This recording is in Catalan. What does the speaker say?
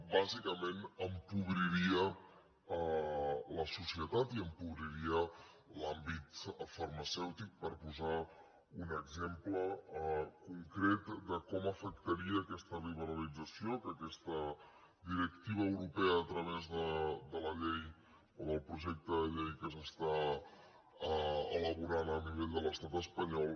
bàsicament empobriria la societat i empobriria l’àmbit farmacèutic per posar un exemple concret de com afectaria aquesta liberalització que aquesta directiva europea a través de la llei o del projecte de llei que s’està elaborant a nivell de l’estat espanyol